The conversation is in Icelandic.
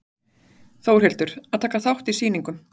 Þórhildur: Að taka þátt í sýningum?